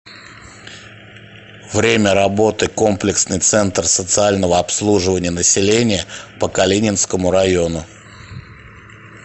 время работы комплексный центр социального обслуживания населения по калининскому району